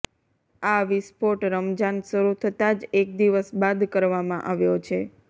આ વિસ્ફોટ રમજાન શરૂ થતાંજ એક દિવસ બાદ કરવામાં આવ્યો છે